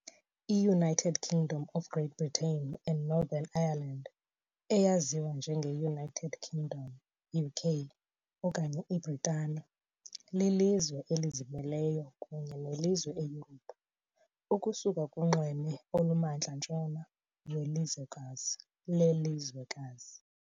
IUnited Kingdom of Great Britain and Northern Ireland, eyaziwa njengeUnited Kingdom, UK, okanye iBritane, lilizwe elizimeleyo kunye nelizwe eYurophu, ukusuka kunxweme olukumantla-ntshona welizwekazi lelizwekazi ..